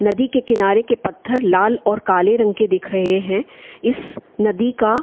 नदी के किनारे के पत्थर लाल और काले रंग के दिख रहे है इस नदी का --